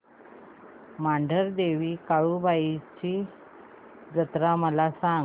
मांढरदेवी काळुबाई ची जत्रा मला सांग